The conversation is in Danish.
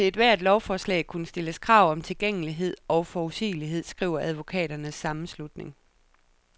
Der må til ethvert lovforslag kunne stilles krav om tilgængelighed og forudsigelighed, skriver advokaternes sammenslutning.